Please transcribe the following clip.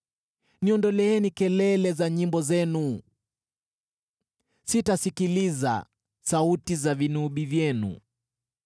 Niondoleeni kelele za nyimbo zenu! Sitasikiliza sauti za vinubi vyenu.